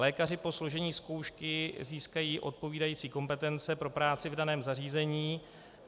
Lékaři po složení zkoušky získají odpovídající kompetence pro práci v daném zařízení.